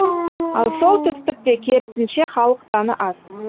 ал солтүстікте керісінше халық саны аз